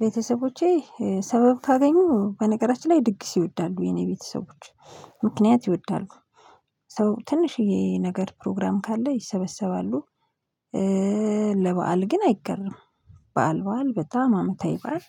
ቤተሰቦቼ ሰበብ ካገኙ በነገራችን ላይ ድግስ ይወዳሉ የኔ ቤተሰቦች ምክንያት ይወዳሉ ሰው ትንሽዬ ነገር ፕሮግራም ካለ ይሰበሰባሉ። ለበአል ግን አይገርምም በዓል በዓል በጣም አመታይ በዓል።